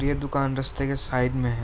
ये दुकान रास्ते के साइड में है।